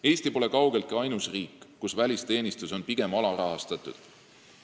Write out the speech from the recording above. Eesti pole kaugeltki ainus riik, kus välisteenistus on pigem alarahastatud.